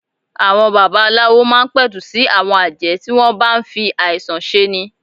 Àwọn baba aláwo máa ń pẹ̀tù sí àwọn àjẹ́ tí wọ́n ń bá ń fi àìsàn ṣe ni.